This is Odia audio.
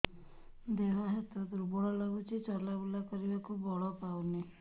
ଦେହ ହାତ ଦୁର୍ବଳ ଲାଗୁଛି ଚଲାବୁଲା କରିବାକୁ ବଳ ପାଉନି